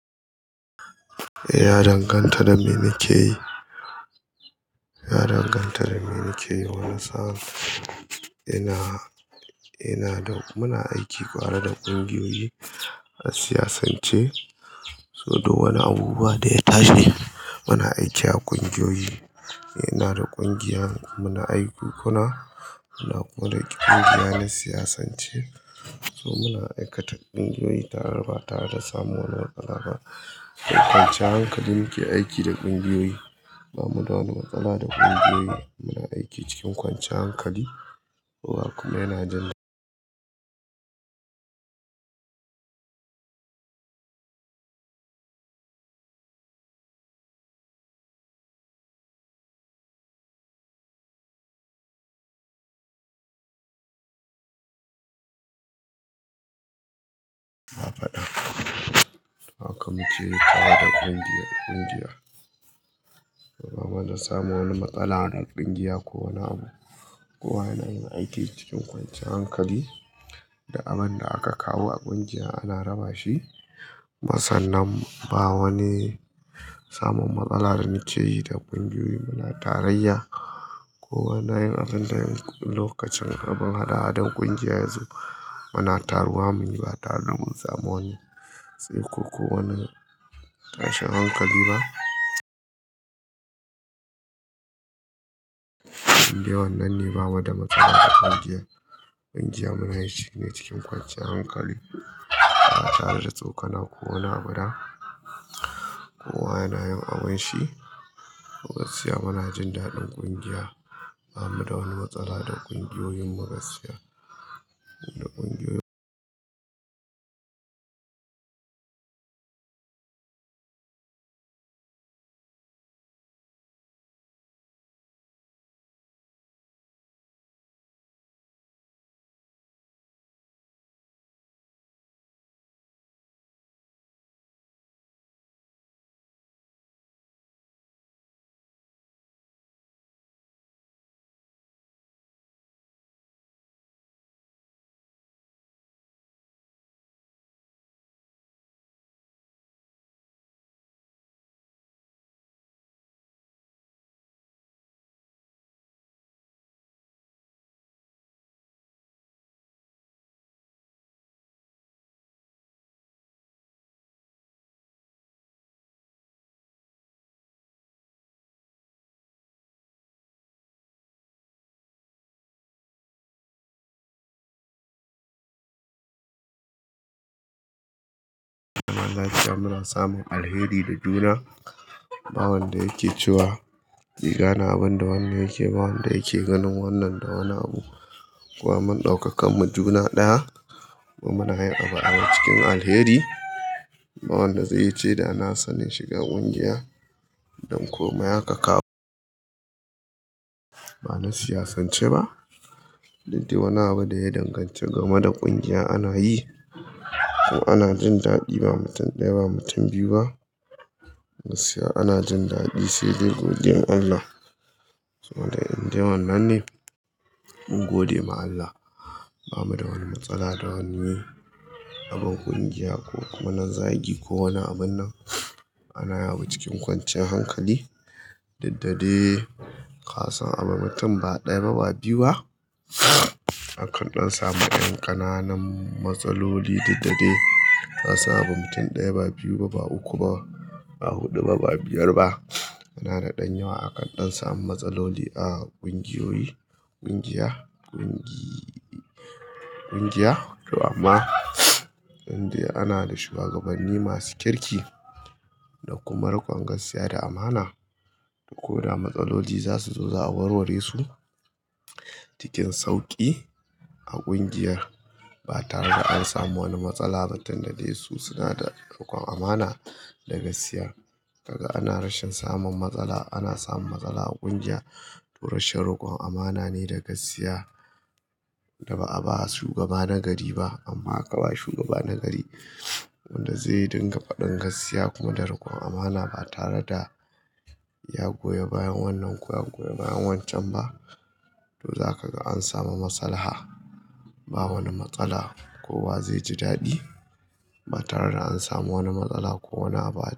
Ya danganta da me nake yi. Ya danganta da me nake yi, wani sa'a ina, ina da muna aiki tare da ƙungiyoyi a siyasance, so duk wani abubuwa da ya tashi muna aiki a ƙungiyoyi. Ina da ƙungiya muna aiku kuna, muna kuma da ƙungiya na siyasance. So muna aikata ƙungiyoyi tara ba tare da samu wani matsala ba. Kwancan hankali muke aiki da ƙungiyoyi, ba mu da wani matsala da ƙungiyoyi. Muna aiki cikin kwanciyan hankali. Kowa kuma yana jan. Ba faɗa. Haka muke yi tare da ƙungiyar ƙungiya. Ba mana samun wani matsala da ƙungiya ko wani abu. Kowa yana yin aiki cikin kwanciyan hankali duk abin da aka kawo a ƙungiya ana raba shi. Masannin ba wani samun matsalar nake yi da ƙungiyoyi. Muna tarayya. Kowa yana yin abin da yayi lokacin abin hada-hadan ƙungiya yazo. Muna taruwa muyi ba tare da mun samu wani tsaiko ko wani tashin hankali ba. Inde wannan ne ba mu da matsala da ƙungiyar. Ƙungiyar muna yin shine cikin kwanciyar hankali. Ba tare da tsokana ko wani abu da kowa yana yin abin shi. Gaskiya muna jin daɗin ƙungiya. Ba mu da wani matsala da ƙungiyoyin mu gaskiya. Da ƙungiyoyin. Kuma lafiya muna samun alheri da juna. Ba wanda yake cewa riga na abin da wanne yake ba wanda yake ganin wannan da wani abu. Kowa mun ɗau kakan mu juna ɗaya kuma muna yin abu a cikin alheri. Ba wanda zai ce da na sani shiga ƙungiya don komai aka kawo. Ba na siyasance ba. Duk daii wani abu da ya danganci game da ƙungiyar ana yi. To ana jin daɗi ba mutum ɗaya ba mutum biyu ba. Gaskiya ana jin daɗi sai dai godiyan Allah. Kuma dai indai wannan ne. Mun gode ma Allah. Ba mu da wani matsala da wani. Abin ƙungiya ko kuma na zagi ko wani abin nan. Ana yawo cikin kwancin hankali. Duk da dai. Kasan abin mutum ba ɗaya ba ba biyu ba. Akan ɗan samu ƴan ƙananan matsaloli duk da dai. Kasan abin mutum ɗaya ba biyu ba ba uku ba ba hudu ba ba biyar ba. Ana da ɗan yawa akan ɗan sami matsaloli a ƙungiyoyi. Ƙungiya ƙungiyi ƙungiya to amma indai ana da shuwagabanni masu kirki da kuma rikon gaskiya da amana. Ko da matsaloli za su zo za a warware su cikin sauƙi a ƙungiyar ba tare da an samu wani matsala ba tunda dai su suna da rikon amana da gaskiya. Kaga ana rashin samun matsala ana samun matsala a ƙungiya to rashin rikon amana ne da gaskiya. Da ba a ba wa shugaba na gari ba amma aka ba shugaba na gari wanda zai dinga faɗin gaskiya kuma da rikon amana ba tare da ya goya bayan wannan ko ya goya bayan wancan ba. To za ka ga an samu masalaha. Ba wani matsala kowa zai ji daɗi ba tare da an samu wani matsala ko wani abu ba.